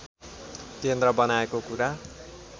केन्द्र बनाएको कुरा